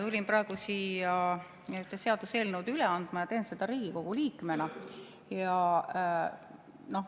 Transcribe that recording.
Tulin praegu siia ühte seaduseelnõu üle andma ja teen seda Riigikogu liikmena.